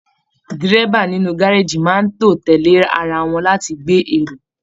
Dírẹ́bà inú gárájí máa n tó tẹlẹ ará wọn láti gbé èrò.